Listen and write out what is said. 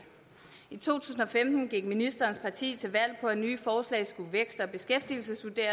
i to tusind og femten gik ministerens parti til valg på at nye forslag skulle vækst og beskæftigelsesvurderes